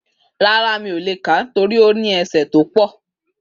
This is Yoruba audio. Rárá, mi ò le kà á torí ó ní ẹsẹ́ tó pọ̀.